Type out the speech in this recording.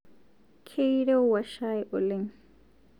Keirewua chai oleng